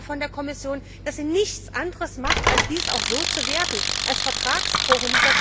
Ich erwarte von der Kommission, dass sie nichts anderes macht, als dies auch so zu werten als Vertragsbruch!